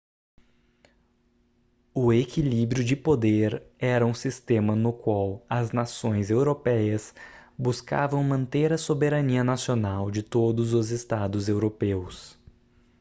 o equilíbrio de poder era um sistema no qual as nações europeias buscavam manter a soberania nacional de todos os estados europeus